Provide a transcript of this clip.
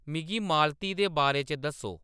मिगी माल्ती दे बारे च दस्सो